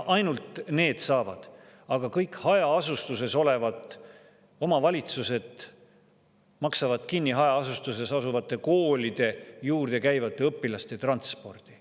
Ainult need saavad, aga kõik hajaasustuses olevad omavalitsused maksavad kinni hajaasustuses asuvate koolide juurde käiva õpilaste transpordi.